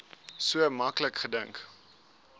so maklik gedink